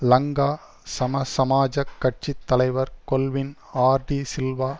லங்கா சமசமாஜக் கட்சி தலைவர் கொல்வின் ஆர் டிசில்வா